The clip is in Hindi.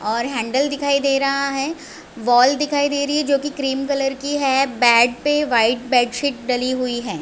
और हैंडल दिखाई दे रहा है बॉल दिखाई दे रही है जो की क्रीम कलर की है बेड पे वाइट बेलशीट डली हुई है।